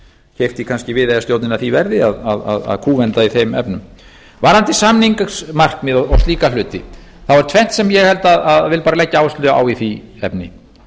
keypti kannski viðeyjarstjórnina því verði að kúvenda í þeim efnum varðandi samningsmarkmið og slíka hluti þá er tvennt sem ég vil leggja áherslu á í því efni